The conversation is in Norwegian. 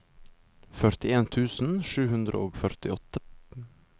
førtien tusen sju hundre og førtiåtte